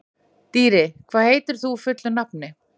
Dýri, hvað heitir þú fullu nafni?